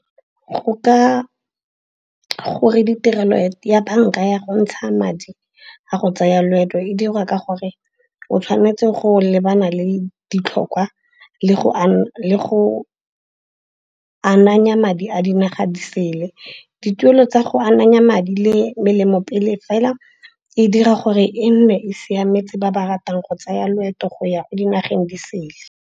Gore ditirelo ya banka ya go ntsha madi a go tsaya loeto e dirwa ka gore o tshwanetse go lebana le ditlhokwa le go ananya madi a dinaga di sele. Dituelo tsa go ananya madi le melemo pele fela e dira gore e nne e siametse ba ba ratang go tsaya loeto go ya ko dinageng di sele.